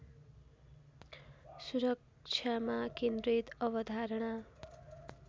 सुरक्षामा केन्द्रित अवधारणा